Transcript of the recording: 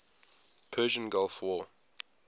persian gulf war